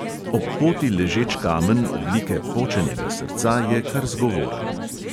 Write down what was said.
Ob poti ležeč kamen oblike počenega srca je kar zgovoren.